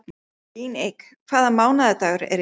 Líneik, hvaða mánaðardagur er í dag?